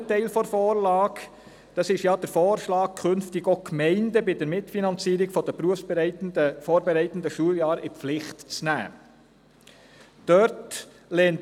Dabei geht es ja darum, künftig auch die Gemeinden bei der Mitfinanzierung der berufsvorbereitenden Schuljahre (BVS) in die Pflicht zu nehmen.